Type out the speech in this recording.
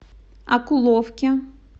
окуловке